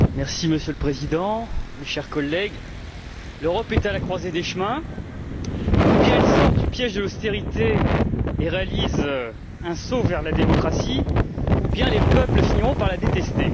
Monsieur le Président, mes chers collègues, l'Europe est à la croisée des chemins ou bien elle sort du piège de l'austérité et réalise un saut vers la démocratie, ou bien les peuples finiront par la détester.